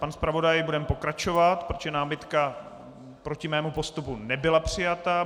Pane zpravodaji, budeme pokračovat, protože námitka proti mému postupu nebyla přijata.